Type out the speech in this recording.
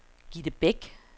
Gitte Beck